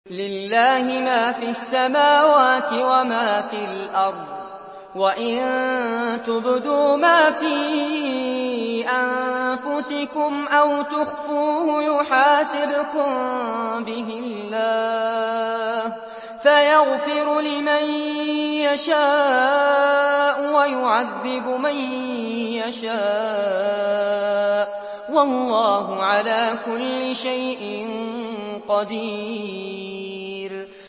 لِّلَّهِ مَا فِي السَّمَاوَاتِ وَمَا فِي الْأَرْضِ ۗ وَإِن تُبْدُوا مَا فِي أَنفُسِكُمْ أَوْ تُخْفُوهُ يُحَاسِبْكُم بِهِ اللَّهُ ۖ فَيَغْفِرُ لِمَن يَشَاءُ وَيُعَذِّبُ مَن يَشَاءُ ۗ وَاللَّهُ عَلَىٰ كُلِّ شَيْءٍ قَدِيرٌ